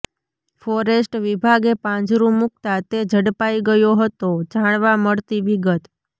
forest વિભાગે પાંજરું મુકતા તે ઝડપાઇ ગયો હતો જાણવા મળતી વિગત